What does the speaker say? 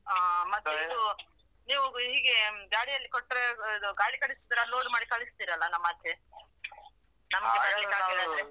ಹಾ ಮತ್ತೆ ನೀವ್ ಹೀಗೆ ಗಾಡಿ ಅಲ್ಲಿ ಕೊಟ್ಟ್ರೆ ಗಾಡಿ ಕಳಿಸಿದ್ರೆ load ಮಾಡಿ ಕಳಿಸ್ತೀರಲ್ಲ ನಮ್ಮ ಆಚೆ ನಮಗೆ